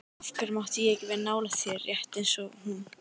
Af hverju mátti ég ekki vera nálægt þér, rétt eins og hún?